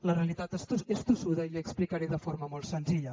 la realitat és tossuda i la hi explicaré de forma molt senzilla